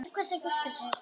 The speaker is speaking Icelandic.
Til hvers að gifta sig?